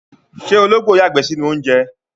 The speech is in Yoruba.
Ṣé ológbò yàgbẹ́ sínú oúnjẹ?